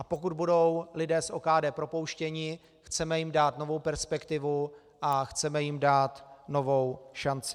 A pokud budou lidé z OKD propouštěni, chceme jim dát novou perspektivu a chceme jim dát novou šanci.